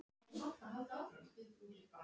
Var þetta sneið til mín?